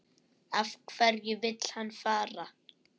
Af hverju vill hann fara?